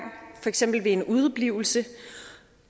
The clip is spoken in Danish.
for eksempel ved en udeblivelse